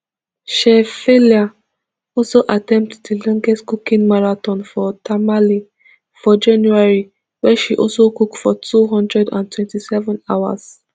chef faila also attempt di longest cooking marathon for tamale for january wia she also cook for two hundred and twenty-seven hours